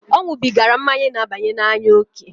O nwubigara mmanya n'abanye n'anya oke.